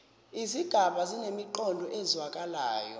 izigaba zinemiqondo ezwakalayo